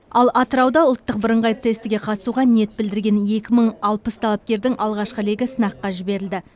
ал атырауда ұлттық бірыңғай тестіге қатысуға ниет білдіріген екі мың алпыс талапкердің алғашқы легі сынаққа жіберілді